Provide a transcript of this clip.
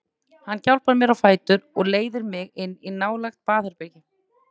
Hann hjálpar mér á fætur og leiðir mig inn í nálægt baðherbergi.